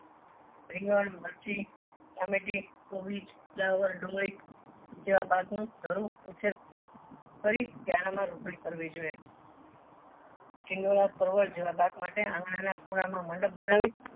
રીંગણ મર્ચી ટામેટી કોબીજ ફુલાવર ડુંગળી જેવા પાક નું ધરો ઉછેર કરી ક્યારો માં રોપણી કરવી જોઈએ પરવર જેવા પાક માટે આંગણા ના ખૂણા માં મંડપ બનાવી